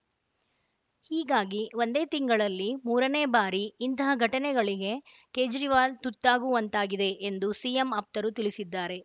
ಹೀಗಾಗಿ ಒಂದೇ ತಿಂಗಳಲ್ಲಿ ಮೂರನೇ ಬಾರಿ ಇಂತಹ ಘಟನೆಗಳಿಗೆ ಕೇಜ್ರಿವಾಲ್‌ ತುತ್ತಾಗುವಂತಾಗಿದೆ ಎಂದು ಸಿಎಂ ಆಪ್ತರು ತಿಳಿಸಿದ್ದಾರೆ